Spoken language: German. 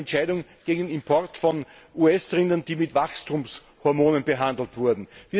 Ich denke hier an die Entscheidung gegen den Import von US Rindern, die mit Wachstumshormonen behandelt wurden.